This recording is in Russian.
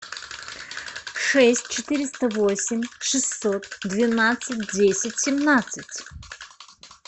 шесть четыреста восемь шестьсот двенадцать десять семнадцать